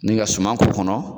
Nin ka suman k'o kɔnɔ